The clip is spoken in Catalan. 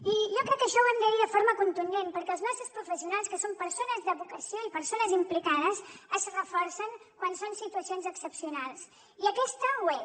i jo crec que això ho hem de dir de forma contundent perquè els nostres professionals que són persones de vocació i persones implicades es reforcen quan són situacions excepcionals i aquesta ho és